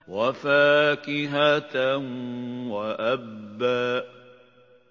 وَفَاكِهَةً وَأَبًّا